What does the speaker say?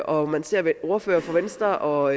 og man ser ordførere for venstre og